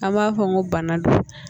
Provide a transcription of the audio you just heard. An b'a fɔ ko bana don